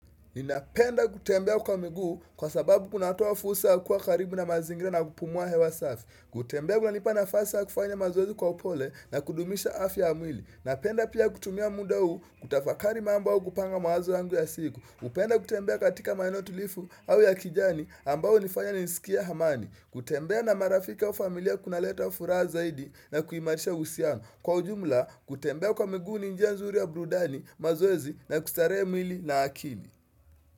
Ninapenda kutembea kwa miguu, kwa sababu kunatoa fursa yakuwa karibu na mazingira na kupumua hewa safi. Kutembea kunanipa nafasi ya kufanya mazoezi kwa upole, na kudumisha afya ya mwili. Napenda pia kutumia muda huu kutafakari mambo au kupanga mawazo yangu ya siku. Upenda kutembea katika maeneo tulivu, au ya kijani ambayo hunifanya nisikiae amani. Kutembea na marafiki au familia kuna leta furaha zaidi na kuhimarisha uhusiano. Kwa ujumla, kutembea kwa miguu ninjia nzuri ya burudani, mazoezi na kustarehe mwili na akili.